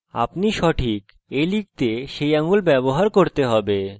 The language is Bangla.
আপনার অনুমান সঠিক আপনাকে a লিখতে সেই আঙুল ব্যবহার করতে হবে